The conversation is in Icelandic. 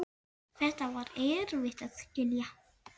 Þetta er erfitt að skilja.